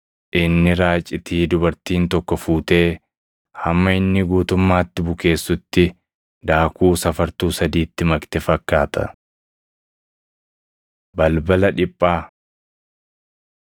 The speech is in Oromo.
Inni raacitii dubartiin tokko fuutee hamma inni guutummaatti bukeessutti daakuu safartuu sadiitti makte fakkaata.” Balbala Dhiphaa